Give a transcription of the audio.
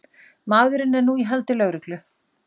Maðurinn er nú í haldi lögreglu